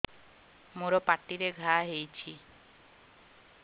ମୋର ପାଟିରେ ଘା ହେଇଚି